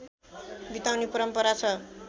बिताउने परम्परा छ